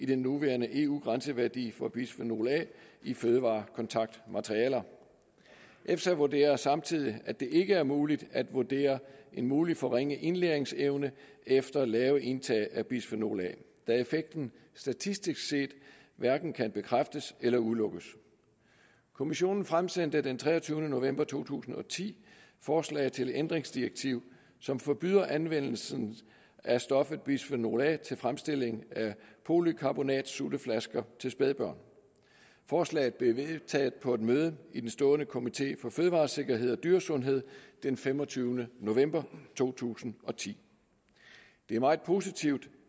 den nuværende eu grænseværdi for bisfenol a i fødevarekontaktmaterialer efsa vurderer samtidig at det ikke er muligt at vurdere en mulig forringet indlæringsevne efter lave indtag af bisfenol a da effekten statistisk set hverken kan bekræftes eller udelukkes kommissionen fremsendte den treogtyvende november to tusind og ti forslag til et ændringsdirektiv som forbyder anvendelsen af stoffet bisfenol a til fremstilling af polycarbonatsutteflasker til spædbørn forslaget blev vedtaget på et møde i den stående komité for fødevaresikkerhed og dyresundhed den femogtyvende november to tusind og ti det er meget positivt